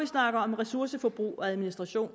snakker om ressourceforbrug og administration